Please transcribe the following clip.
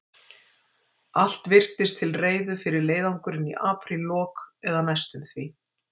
Allt virtist til reiðu fyrir leiðangurinn í apríllok, eða næstum því.